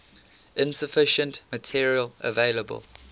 insufficient material available